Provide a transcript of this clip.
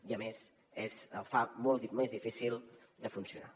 i a més fa molt més difícil de funcionar